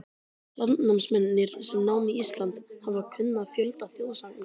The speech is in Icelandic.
Landnámsmennirnir, sem námu Ísland, hafa kunnað fjölda þjóðsagna.